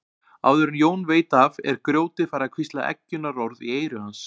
Áður en Jón veit af er grjótið farið að hvísla eggjunarorð í eyru hans.